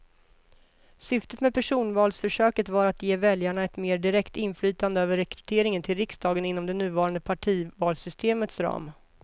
Syftet med personvalsförsöket var att ge väljarna ett mer direkt inflytande över rekryteringen till riksdagen inom det nuvarande partivalssystemets ram.